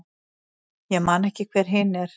Ég man ekki hver hin er.